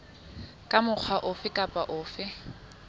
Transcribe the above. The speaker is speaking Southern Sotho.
ka mokgwa ofe kapa ofe